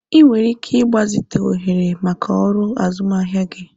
Ị nwere ike ịgbazite ohere maka ọrụ azụmahịa gị.